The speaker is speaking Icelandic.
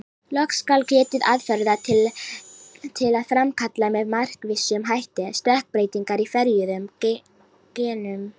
Loks skal getið aðferða til að framkalla með markvissum hætti stökkbreytingar í ferjuðum genum.